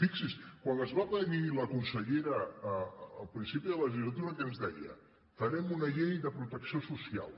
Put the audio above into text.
fixi’s quan ens va venir la consellera al principi de la legislatura què ens deia farem una llei de protecció social